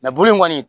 bulu in kɔni